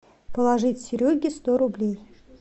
положить сереге сто рублей